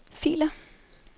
filer